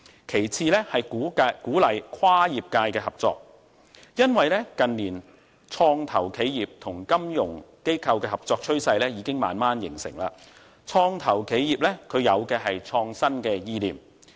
其次是鼓勵跨業界合作，因為近年創投企業與金融機構合作的趨勢正慢慢形成，創投企業有的是創新意念。